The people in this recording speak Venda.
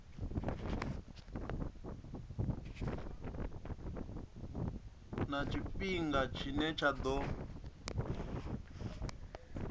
na tshifhinga tshine tsha ḓo